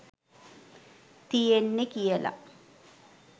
තියෙන්නෙ කියල.